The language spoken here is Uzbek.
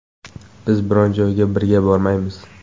Biz biron joyga birga bormaymiz.